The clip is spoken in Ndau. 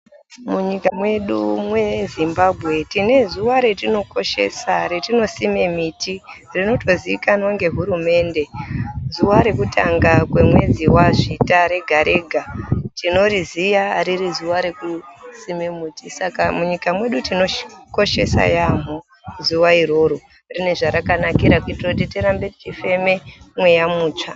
Munyika mwedu mweZimbabwe tine zuwa retinokoshesa retinosima miti rinotoziikanwa ngehurumende, zuwa rekutanga remwedzi waZvita rega rega tinoriziya riri zuwa rekusima miti. Saka munyika mwedu tinokoshesa yaamho zuwa iroro rine zvarakanakira kuita kuti tirambe tichifema mweya mutsva.